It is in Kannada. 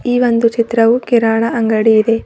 ಈ ಒಂದು ಚಿತ್ರವು ಕಿರಾಣ ಅಂಗಡಿ ಇದೆ.